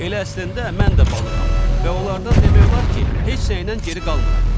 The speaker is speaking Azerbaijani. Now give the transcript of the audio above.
Elə əslində mən də balığam və onlardan demək olar ki, heç nəyinən geri qalmıram.